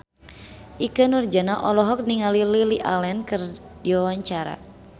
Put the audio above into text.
Ikke Nurjanah olohok ningali Lily Allen keur diwawancara